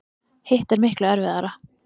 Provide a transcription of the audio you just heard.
Hitt er miklu erfiðara.